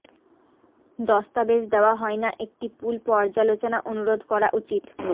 দস্তাবেজ দেওয়া হয় না একটি পুল পর্যালোচনা অনুরোধ করা উচিত